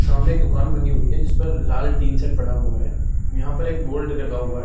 सामने एक दुकान बनी हुई है जिस पर लाल टीन सेट पड़ा हुआ है यहाँ पर एक बोर्ड लगा हुआ है।